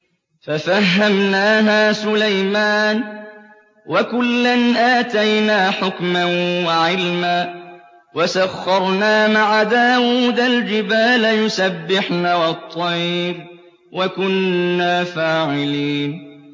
فَفَهَّمْنَاهَا سُلَيْمَانَ ۚ وَكُلًّا آتَيْنَا حُكْمًا وَعِلْمًا ۚ وَسَخَّرْنَا مَعَ دَاوُودَ الْجِبَالَ يُسَبِّحْنَ وَالطَّيْرَ ۚ وَكُنَّا فَاعِلِينَ